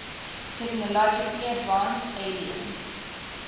technologically advanced aliens